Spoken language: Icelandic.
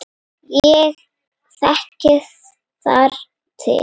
Ég þekki þar til.